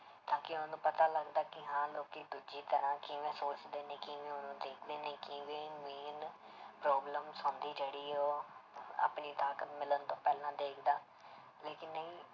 ਤਾਂ ਕਿ ਉਹਨੂੰ ਪਤਾ ਲੱਗਦਾ ਕਿ ਹਾਂ ਲੋਕੀ ਦੂਜੀ ਤਰ੍ਹਾਂ ਕਿਵੇਂ ਸੋਚਦੇ ਨੇ ਕਿਵੇਂ ਉਹਨੂੰ ਦੇਖਦੇ ਨੇ ਕਿਵੇਂ main problem ਹੁੰਦੀ ਜਿਹੜੀ ਉਹ ਆਪਣੀ ਤਾਕਤ ਮਿਲਣ ਤੋਂ ਪਹਿਲਾਂ ਦੇਖਦਾ, ਲੇਕਿੰਨ ਨਹੀਂ।